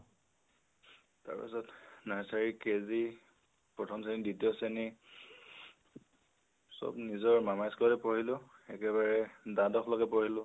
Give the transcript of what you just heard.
তাৰপিছত, nursery KG প্ৰথম শ্ৰণী, দ্বিতীয় শ্ৰেণী। চব নিজৰ মামাৰ school তে পঢ়িলোঁ । একেবাৰে দ্বাদশ লৈকে পঢ়িলো